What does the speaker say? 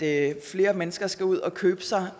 at flere mennesker skal ud og købe sig